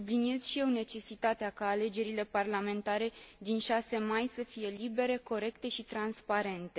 Subliniez și eu necesitatea ca alegerile parlamentare din 6 mai să fie libere, corecte și transparente.